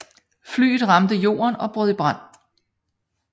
Flyet ramte jorden og brød i brand